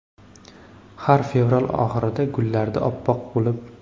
Har fevral oxirida gullardi oppoq bo‘lib.